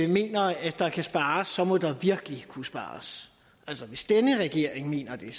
mener at der kan spares så må der virkelig kunne spares altså hvis denne regering mener det